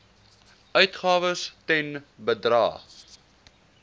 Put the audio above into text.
uitgawes ten bedrae